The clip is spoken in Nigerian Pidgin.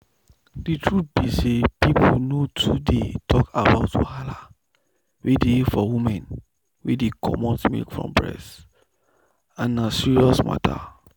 the truth be say people nor too dey talk about wahala wey dey for women wey dey comot milk for breast and na serious matter.